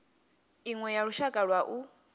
iṅwe ya lushaka lwa u